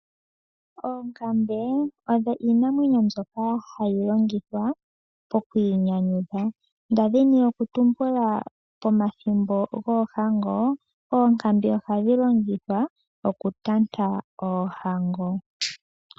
Oonkambe odho iinamwenyo mbyoka hayi longithwa pokwiinyanyudha, nda dhini okutumbula pomathimbo goohango, oonkambe ohadhi longithwa okutanta oohango.